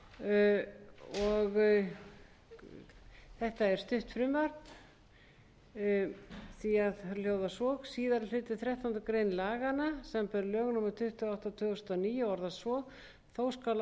það hljóðar svo síðari málsliður þrettándu greinar laganna samanber lög númer tuttugu og átta tvö þúsund og níu orðast svo þó skal